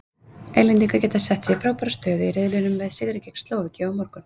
Englendingar geta sett sig í frábæra stöðu í riðlinum með sigri gegn Slóvakíu á morgun.